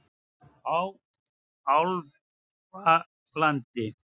Álfalandi